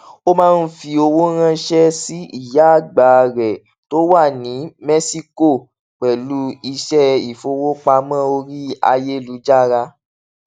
ó máa ń fi owó ránṣẹ sí ìyá àgbà rẹ tó wà ní mẹsíkò pẹlú iṣẹ ìfowópamọ orí ayélujára